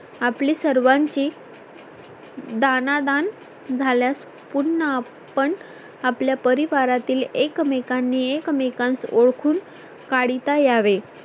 आपली सर्वांची दाणा दान झाल्यास पुन्हा आपण आपल्या परिवारातील एकमेकांनी एकमेकांस ओळखून काढता यावे